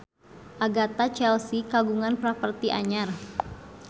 Agatha Chelsea kagungan properti anyar